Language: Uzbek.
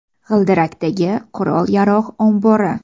G‘ildirakdagi qurol-yarog‘ ombori.